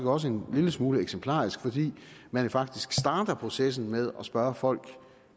også en lille smule eksemplarisk fordi man faktisk starter processen med at spørge folk